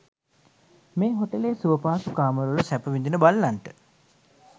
මේ හෝටලයේ සුවපහසු කාමරවල සැප විඳින බල්ලන්ට